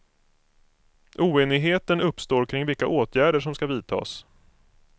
Oenigheten uppstår kring vilka åtgärder som ska vidtas.